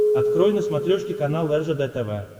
открой на смотрешке канал ржд тв